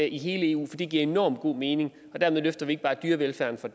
i hele eu for det giver enormt god mening for dermed løfter vi ikke bare dyrevelfærden for